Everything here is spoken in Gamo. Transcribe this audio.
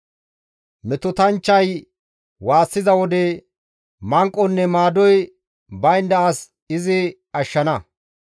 Metotanchchay waassiza wode, manqonne maadoy baynda as izi ashshana.